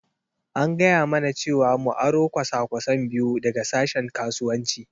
An gaya mana cewa mu aro kwasa-kwasai biyu daga sashen Kasuwanci.